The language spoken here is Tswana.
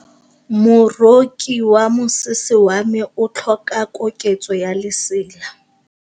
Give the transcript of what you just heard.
Moroki wa mosese wa me o tlhoka koketsô ya lesela.